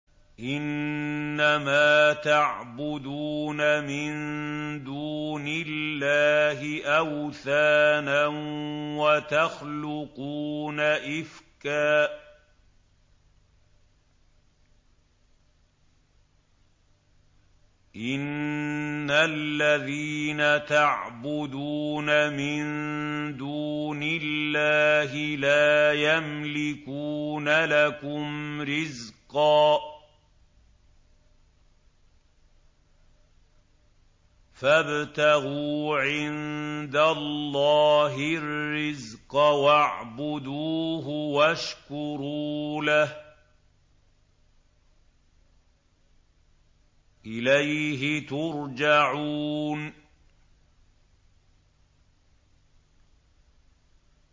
إِنَّمَا تَعْبُدُونَ مِن دُونِ اللَّهِ أَوْثَانًا وَتَخْلُقُونَ إِفْكًا ۚ إِنَّ الَّذِينَ تَعْبُدُونَ مِن دُونِ اللَّهِ لَا يَمْلِكُونَ لَكُمْ رِزْقًا فَابْتَغُوا عِندَ اللَّهِ الرِّزْقَ وَاعْبُدُوهُ وَاشْكُرُوا لَهُ ۖ إِلَيْهِ تُرْجَعُونَ